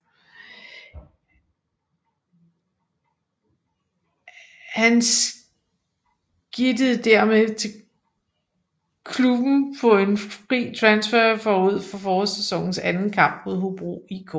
Han skidtede dermed til klubben på en fri transfer forud for forårssæsonens anden kamp mod Hobro IK